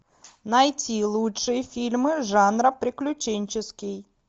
найти лучшие фильмы жанра приключенческий